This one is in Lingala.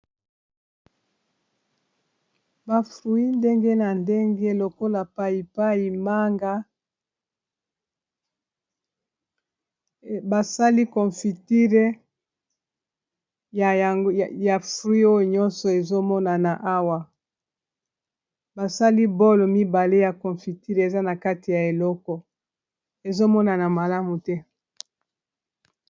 Ba fruit ndenge na ndenge lokola payipayi manga basali confitire ya frui nyonso ezomona na awa basali bolo mibale ya confitire eza na kati ya eleko ezomonana malamu te.